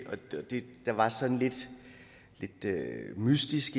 er det der var sådan lidt mystisk